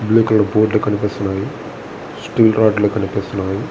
Blue colour board లు కనిపిస్తున్నాయి. Steel రాడ్లు కనిపిస్తున్నాయి.